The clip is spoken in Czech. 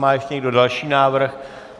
Má ještě někdo další návrh?